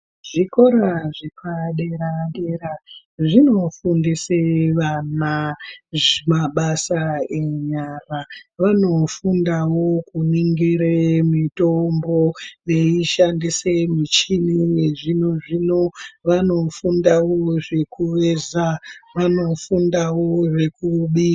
Zvikora zvepa dera dera zvino fundise vana mabasa enyara vano fundawo kuningire mitombo veishandise muchini we zvino zvino vanofundawo zvekuweza vanofundawo zvekubika.